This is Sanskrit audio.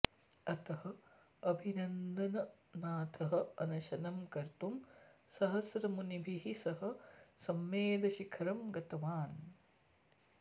अतः अभिनन्दननाथः अनशनं कर्तुं सहस्रमुनिभिः सह सम्मेदशिखरं गतवान्